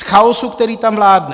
Z chaosu, který tam vládne.